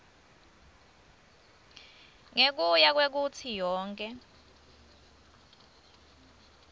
ngekuya kwekutsi yonkhe